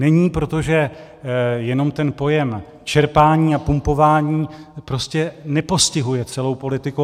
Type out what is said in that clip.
Není, protože jenom ten pojem čerpání a pumpování prostě nepostihuje celou politiku.